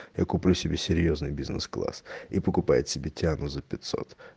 я куплю себе серьёзный бизнес класс и покупает себе теану за пятьсот